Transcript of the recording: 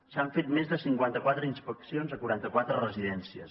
s’han fet més de cinquanta quatre inspeccions a quaranta quatre residències